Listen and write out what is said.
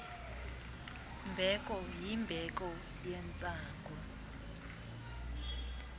mbeko yimbeko yentsangu